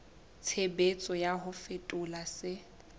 tshebetso ya ho fetola se